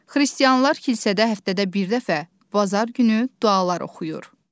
Xristianlar kilsədə həftədə bir dəfə, bazar günü dualar oxuyur.